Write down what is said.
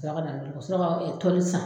Sɔrɔ kana sɔrɔ tɔli san